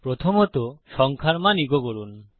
প্রথমত সংখ্যার মান ইকো করুন